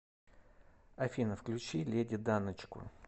афина включи леди даночку